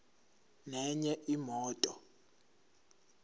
nenye imoto